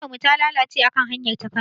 Motar mu ta lalace a kan hanyar ta Kano.